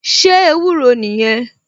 Ṣé ewúro nìyẹn?